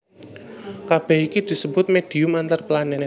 Kabèh iki disebut médhium antarplanèt